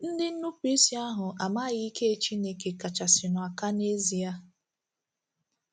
Ndị nnupụisi ahụ a maghị Ike Chineke kachasịnụ aka nezie.